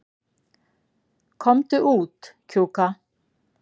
Komdu út, Kjúka.